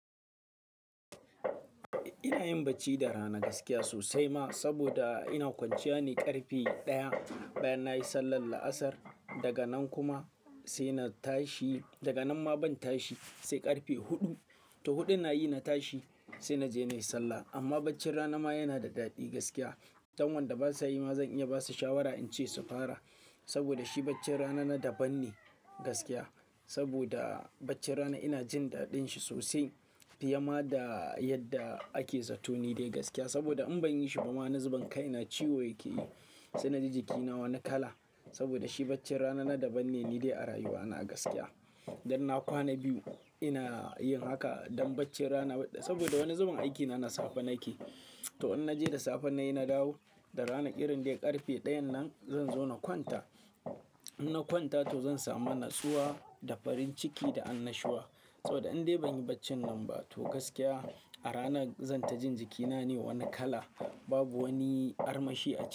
Ina yin bacci da rana gaskiya sosai ma, saboda ina kwanciya ne ƙarfe ɗaya. Bayan na yi sallar la'asar daga nan kuma sai na tashi, daga nan ma ban tashi sai ƙarfe huɗu. To huɗu nayi na tashi sai na je na yi sallah. Amma bacci rana ma yana da daɗi gaskiya. Dan wanda ba sa yi ma zan iya ba su shawara in ce su fara. Saboda shi bacci rana na daban ne gaskiya. Saboda bacci rana ina jin daɗin shi sosai fiye ma da yadda ake zato ni dai gaskiya. Saboda in ban yi shi ba ma, na zuban kai, na ciwo yake yi sai na ji jikina wani kala. Saboda shi bacci rana na daban ne, ni dai a rayuwa na gaskiya. Idan na kwana biyu ina yin haka don bacci rana, saboda wani zuban aiki na, na safe nake. To in naje da safe nayi na dawo, da rana irin dai ƙarfe ɗayan nan zan zo na kwanta. In na kwanta to zan samu natsuwa da farin ciki da annashuwa. Saboda in dai ban yi bacci nan ba to gaskiya a rana zan ta jin jikina ne wani kala. Babu wani armashi a ciki.